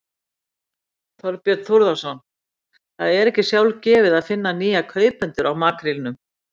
Þorbjörn Þórðarson: Það er ekki sjálfgefið að finna nýja kaupendur á makrílum?